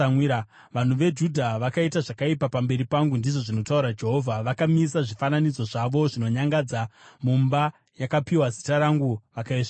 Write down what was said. “ ‘Vanhu veJudha vakaita zvakaipa pamberi pangu, ndizvo zvinotaura Jehovha. Vakamisa zvifananidzo zvavo zvinonyangadza mumba yakapiwa Zita rangu vakaisvibisa.